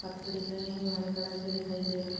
पत्ते दिख रहे हैं जो हरे कलर के दिखाई दे रहे।